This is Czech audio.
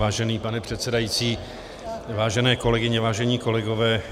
Vážený pane předsedající, vážené kolegyně, vážení kolegové.